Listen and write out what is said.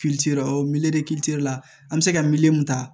la an bɛ se ka mun ta